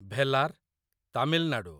Velar, Tamil Nadu